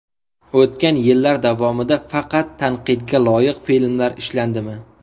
O‘tgan yillar davomida faqat tanqidga loyiq filmlar ishlandimi?